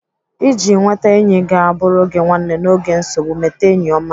Iji nweta enyi ga-abụrụ gị nwanne n'oge nsogbu, mete enyi ọma.